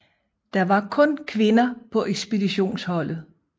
Der var kun kvinder på ekspeditionsholdet